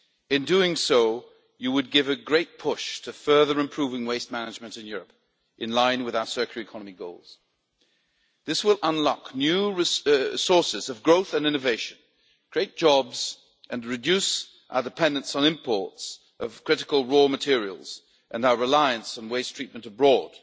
In doing so, you would give a great push to further improving waste management in Europe, in line with our circular economy goals. This will unlock new sources of growth and innovation, create jobs and reduce our dependence on imports of critical raw materials and our reliance on waste treatment abroad,